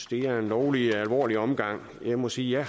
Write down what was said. det er en lovlig alvorlig omgang jeg må sige at